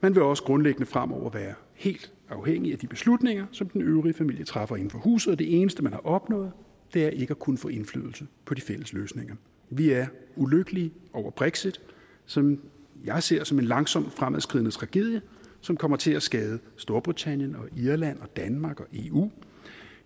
man vil også grundlæggende fremover være helt afhængig af de beslutninger som den øvrige familie træffer inden for huset og det eneste man har opnået er ikke at kunne få indflydelse på de fælles løsninger vi er ulykkelige over brexit som jeg ser som en langsomt fremadskridende tragedie som kommer til at skade storbritannien og irland og danmark og eu